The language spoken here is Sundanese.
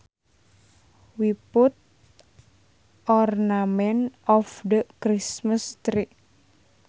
We put ornaments on the Christmas tree